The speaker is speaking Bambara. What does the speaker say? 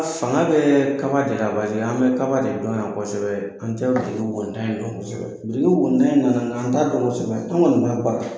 Fanga bɛ kaba de la , paseke an bɛ kaba de dɔn yan kosɛbɛ an tɛ dɔn kosɛbɛ in nana an taa dɔn kosɛbɛ an kɔni b'a baara.